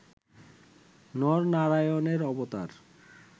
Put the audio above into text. নর নারায়ণের অবতার